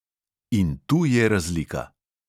In tu je razlika.